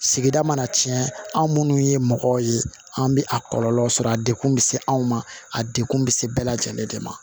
Sigida mana tiɲɛ an minnu ye mɔgɔw ye an bɛ a kɔlɔlɔ sɔrɔ a dekun bɛ se anw ma a degun bɛ se bɛɛ lajɛlen de ma